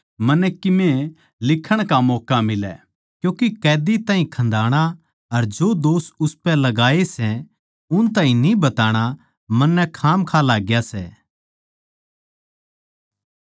क्यूँके कैदी ताहीं खन्दाणा अर जो दोष उसपै लगाये सै उन ताहीं न्ही बताणा मन्नै खामखां लाग्या सै